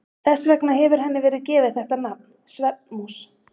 Þess vegna hefur henni verið gefið þetta nafn, svefnmús.